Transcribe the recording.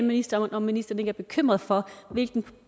ministeren om ministeren ikke er bekymret for hvilken